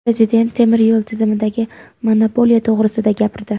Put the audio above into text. Prezident temir yo‘l tizimidagi monopoliya to‘grisida gapirdi.